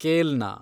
ಕೇಲ್ನ